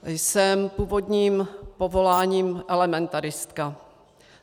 Jsem původním povoláním elementaristka.